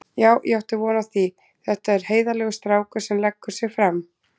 Já ég átti von á því, þetta er heiðarlegur strákur sem leggur sig fram.